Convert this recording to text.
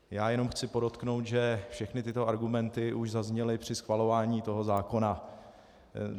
Já jenom chci podotknout, že všechny tyto argumenty už zazněly při schvalování toho zákona.